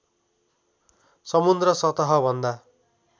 समुद्र सतह भन्दा